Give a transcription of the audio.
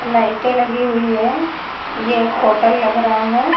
लाइटे लगी हुई है। ये एक होटल लग रहा है।